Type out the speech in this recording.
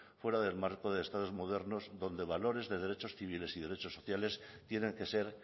fuera del marco de los estados modernos donde valores de derechos civiles y derechos sociales tienen que ser